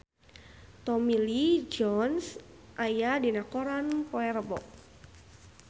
Tommy Lee Jones aya dina koran poe Rebo